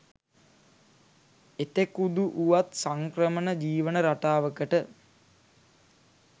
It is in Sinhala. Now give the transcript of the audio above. එතෙකුදු වුවත් සංක්‍රමණ ජීවන රටාවකට